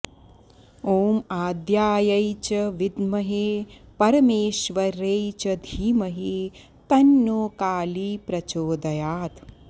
ॐ आद्यायै च विद्महे परमेश्वर्यै च धीमहि तन्नः कालीः प्रचोदयात्